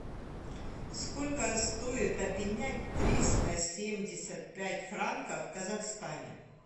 сколько стоит обменять триста семьдесят пять франков в казахстане